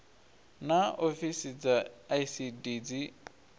naa ofisi dza icd dzi